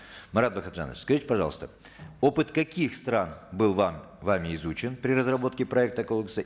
марат бакытжанович скажите пожалуйста опыт каких стран был вам вами изучен при разработке проекта кодекса